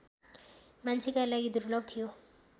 मान्छेका लागि दुर्लभ थियो